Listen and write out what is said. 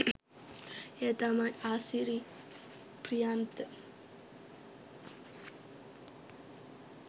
ඒ තමයි ආසිරි ප්‍රියන්ත